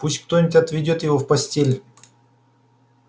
пусть кто-нибудь отведёт его в постель